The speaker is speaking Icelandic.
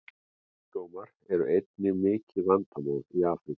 Kynsjúkdómar eru einnig mikið vandamál í Afríku.